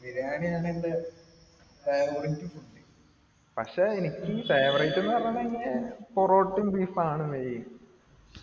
ബിരിയാണിയാണ് എൻറെ favorite food പക്ഷേ എനിക്ക് ഈ favorite ന്ന് പറഞ്ഞാൽ തന്നെ പൊറോട്ട ബീഫ് ആണ് main